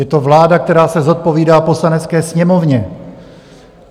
Je to vláda, která se zodpovídá Poslanecké sněmovně.